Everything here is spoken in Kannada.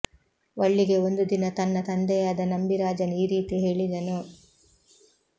ವಳ್ಳಿಗೆ ಒಂದು ದಿನ ತನ್ನ ತಂದೆಯಾದ ನಂಬಿರಾಜನು ಈ ರೀತಿ ಹೇಳಿದನು